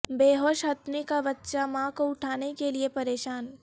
بے ہوش ہتھنی کا بچہ ماں کو اٹھانے کیلئے پریشان